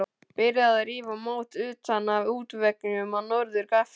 Byrjað að rífa mót utan af útveggjum á norður gafli.